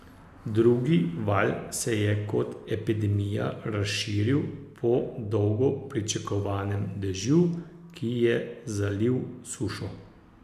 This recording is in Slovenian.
Drugi val se je kot epidemija razširil po dolgo pričakovanem dežju, ki je zalil sušo.